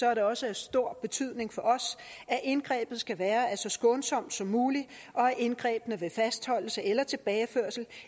er det også af stor betydning for os at indgrebet skal være så skånsomt som muligt og at indgrebene ved fastholdelse eller tilbageførsel